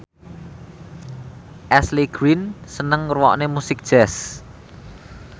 Ashley Greene seneng ngrungokne musik jazz